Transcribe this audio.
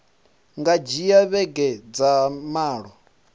nga dzhia vhege dza malo